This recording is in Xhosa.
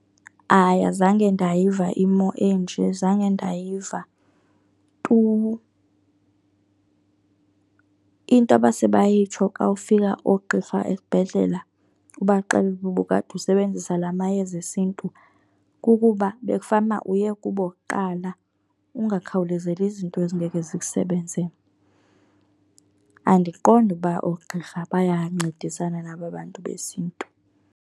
Hayi, azange ndayiva imo enje, zange ndayiva tu. Into abase bayitsho xa ufika oogqirha esibhedlela ubaxelele ukuba ubukade usebenzisa la mayeza esiNtu kukuba bekufanuba uye kubo kuqala, ungakhawulezeli izinto ezingeke zikusebenze. Andiqondi ukuba oogqirha bayancedisana naba bantu besiNtu.